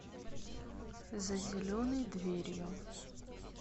за зеленой дверью